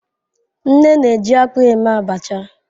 Nne na-eji akpu eme abacha.